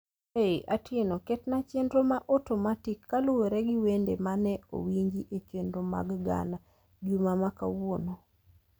Hey Atieno ket na chenro ma otomatik kaluwore gi wende ma ne owinji e chenro mar ghana juma ma kawuono